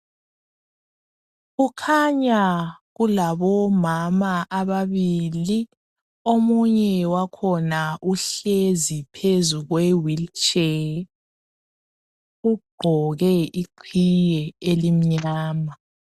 Kukhanya kulabomama ababili, omunye wakhona uhlezi phezu kwe wilitshe, ugqoke iqhiye elimnyama.